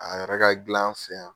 A yɛrɛ ka dil'an fɛ yan